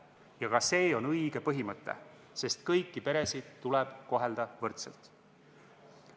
Ja ka see on õige põhimõte, sest kõiki peresid tuleb kohelda võrdselt.